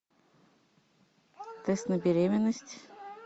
тест на беременность